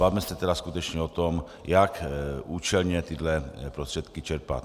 Bavme se tedy skutečně o tom, jak účelně tyhle prostředky čerpat.